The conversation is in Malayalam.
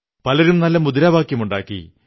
പലരും നല്ല മുദ്രാവാക്യങ്ങളുണ്ടാക്കി